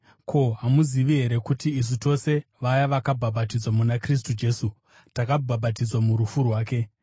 Ko, hamuzivi here kuti isu tose vaya vakabhabhatidzwa muna Kristu Jesu takabhabhatidzwa murufu rwake?